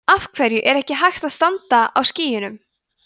af hverju er ekki hægt að standa á skýjunum